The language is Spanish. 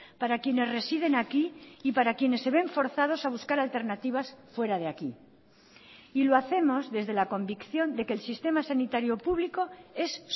para quienes residen aquí y para quienes se ven forzados a buscar alternativas fuera de aquí y lo hacemos desde la convicción de que el sistema sanitario público es